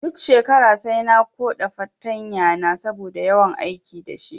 Duk shekara sai na koɗa fartanya na saboda yawan aiki dashi